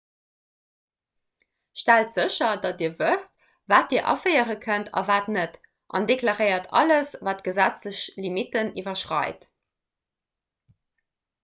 stellt sécher datt dir wësst wat dir aféiere kënnt a wat net an deklaréiert alles wat d'gesetzlech limitten iwwerschreit